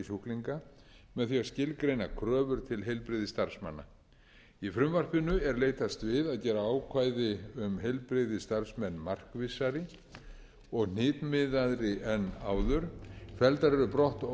sjúklinga með því að skilgreina kröfur til heilbrigðisstarfsmanna í frumvarpinu er leitast við að gera ákvæði um heilbrigðisstarfsmenn markvissari og hnitmiðaðri en áður felldar eru brott